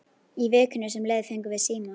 Í vikunni sem leið fengum við síma.